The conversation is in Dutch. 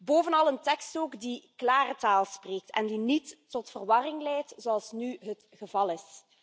Bovenal een tekst ook die klare taal spreekt en die niet tot verwarring leidt, zoals nu het geval is.